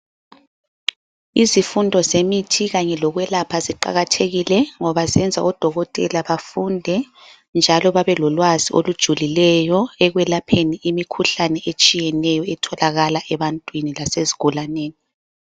Izifundo zemithi kanye lokwelapha ziqakathekile ngoba zenza odokotela bafunde njalo babe lolwazi olujulileyo ekwelapheni imikhuhlane etshiyeneyo etholakala ebantwini lasezigulaneni.